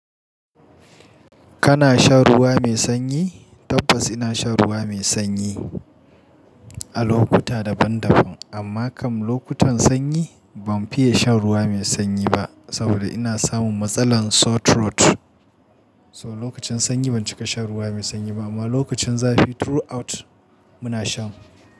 Kana shan ruwa mai sanyi? Tabbas ina shan ruwa mai sanyi a lokuta daban-daban, amma kam lokutan sanyi ban fiye shan ruwa mai sanyi ba saboda ina samun matsalar sore throat. So lokacin sanyi ban cika shan ruwa mai sanyi ba amma lokacin zafi throughout muna shan.